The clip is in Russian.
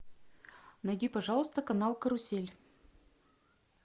найди пожалуйста канал карусель